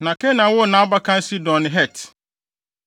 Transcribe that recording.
Na Kanaan woo nʼabakan Sidon ne Het,